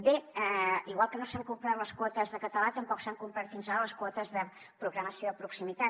bé igual que no s’han complert les quotes de català tampoc s’han complert fins ara les quotes de programació de proximitat